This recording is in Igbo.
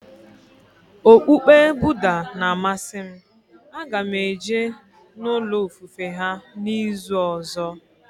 Okpukpe Budha na amasị m, a ga m eje n'ulo ofufe ha n'izuka ọzọ